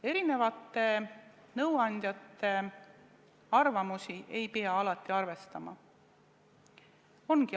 Erinevate nõuandjate arvamusi ei pea alati arvestama.